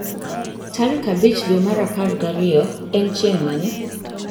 Tarik abich dwe mar apar gariyo en chieng' mane